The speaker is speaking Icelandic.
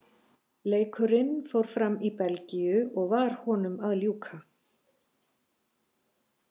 Leikurinn fór fram í Belgíu og var honum að ljúka.